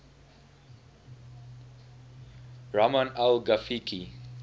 rahman al ghafiqi